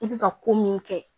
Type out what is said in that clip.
I bɛ ka ko min kɛ